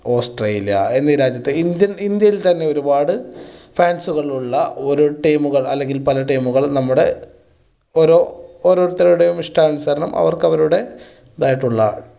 Australia എന്നീ രാജ്യത്ത് India Indian തന്നെ ഒരുപാട് fans കൾ ഉള്ള ഒരു team കൾ അല്ലെങ്കിൽ പല team കൾ നമ്മുടെ ഒരോ~ഓരോരുത്തരുടെ ഇഷ്ടാനുസരണം അവർക്ക് അവരുടെ ഇതായിട്ടുള്ള